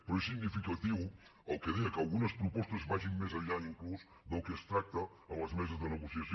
però és significatiu el que deia que algunes propostes vagin més enllà inclús del que es tracta en les meses de negociació